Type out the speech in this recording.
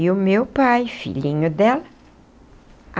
E o meu pai, filhinho dela.